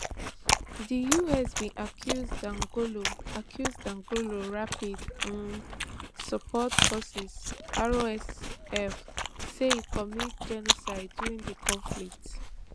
di us bin accuse dagalo accuse dagalo rapid um support forces rsf say e commit genocide during di conflict